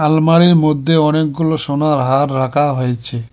আলমারি এর মধ্যে অনেকগুলো সোনার হার রাখা হয়েছে।